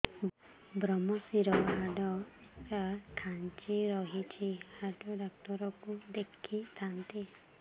ଵ୍ରମଶିର ହାଡ଼ ଟା ଖାନ୍ଚି ରଖିଛି ହାଡ଼ ଡାକ୍ତର କୁ ଦେଖିଥାନ୍ତି